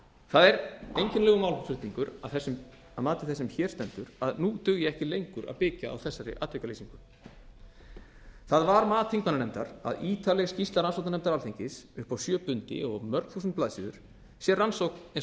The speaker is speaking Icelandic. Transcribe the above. það er einkennilegur málflutningur að mati þess sem hér stendur að nú dugi ekki lengur að byggja á þessari atvikalýsingu það var mat þingmannanefndar að ítarleg skýrsla rannsóknarnefndar alþingis upp á sjö bindi og mörg þúsund blaðsíður sé rannsókn eins